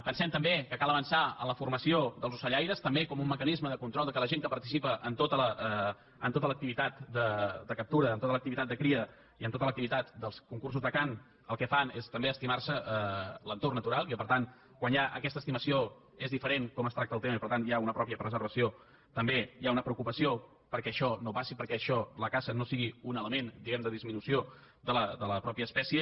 pensem també que cal avançar en la formació dels ocellaires també com un mecanisme de control que la gent que participa en tota l’activitat de captura en tota l’activitat de cria i en tota l’activitat dels concursos de cant el que fan és també estimar se l’entorn natural i que per tant quan hi ha aquesta estimació és diferent com es tracta el tema i per tant hi ha una pròpia preservació també hi ha una preocupació perquè això no passi perquè això la caça no sigui un element diguem ne de disminució de la mateixa espècie